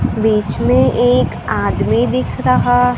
बीच में एक आदमी दिख रहा --